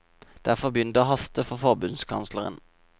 Derfor begynner det å haste for forbundskansleren.